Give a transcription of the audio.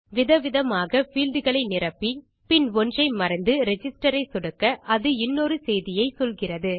விதவிதமாக பீல்ட் களை நிரப்பி பின் ஒன்றை மறந்து ரிஜிஸ்டர் ஐ சொடுக்க அது இன்னொரு செய்தியை சொல்கிறது